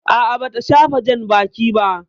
A'a, bata shafa janbaki ba.